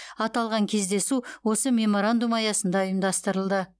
аталған кездесу осы меморандум аясында ұйымдастырылды